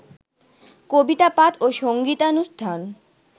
কবিতাপাঠ ও সংগীতানুষ্ঠান